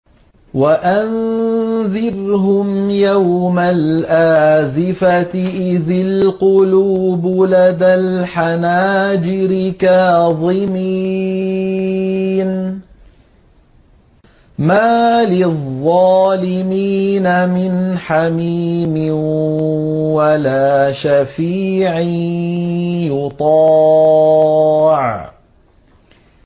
وَأَنذِرْهُمْ يَوْمَ الْآزِفَةِ إِذِ الْقُلُوبُ لَدَى الْحَنَاجِرِ كَاظِمِينَ ۚ مَا لِلظَّالِمِينَ مِنْ حَمِيمٍ وَلَا شَفِيعٍ يُطَاعُ